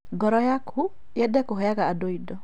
Ngoro yaku yende kũheaga andũ indo